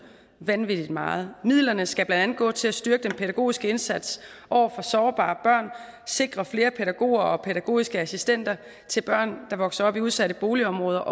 vanvittig meget midlerne skal blandt andet gå til at styrke den pædagogiske indsats over for sårbare børn sikre flere pædagoger og pædagogiske assistenter til børn der vokser op i udsatte boligområder